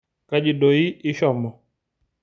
Kaji doi ishomo?